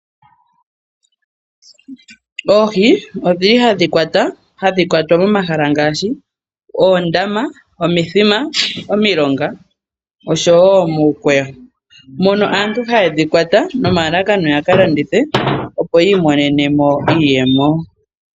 Oohi ohadhi kwatwa, hadhi kwatwa momahala ngaashi, omithima, omilonga oshowo muukweyo. Aantu ohaye dhi kwata mo nomalalakano goku ka landitha, opo yi imonene mo iiyemo.